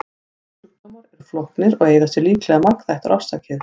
Geðsjúkdómar eru flóknir og eiga sér líklega margþættar orsakir.